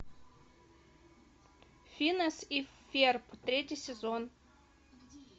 финес и ферб третий сезон